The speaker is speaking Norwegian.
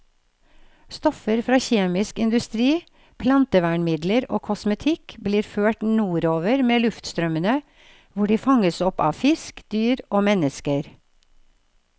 Stoffer fra kjemisk industri, plantevernmidler og kosmetikk blir ført nordover med luftstrømmene, hvor de fanges opp av fisk, dyr og mennesker.